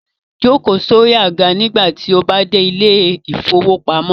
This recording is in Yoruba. Jókò lórí alàga nígbà tí o bá dẹ̀ ilẹ̀ ìfowópamọ́